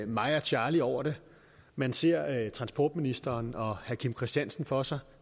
mig og charlie over det man ser transportministeren og herre kim christiansen for sig